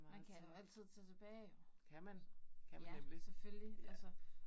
Man kan jo altid tage tilbage jo, så. Ja, selvfølgelig altså